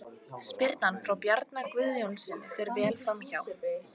Spyrnan frá Bjarna Guðjónssyni fer vel framhjá.